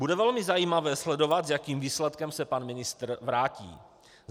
Bude velmi zajímavé sledovat, s jakým výsledkem se pan ministr vrátí.